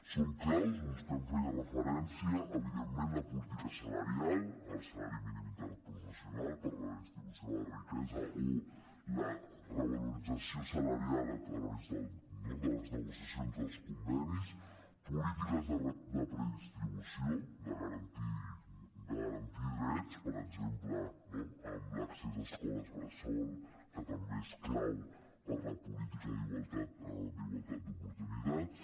són clau vostè en feia referència evidentment la política salarial el salari mínim interprofessional per a la redistribució de la riquesa o la revalorització salarial a través no de les negociacions dels convenis polítiques de predistribució de garantir drets per exemple en l’accés a escoles bressol que també és clau per a la política d’igualtat d’oportunitats